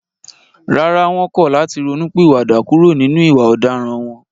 Rárá, wọ́n kọ̀ láti ronú pìwà dà kúrò nínú ìwà ọ̀daràn wọn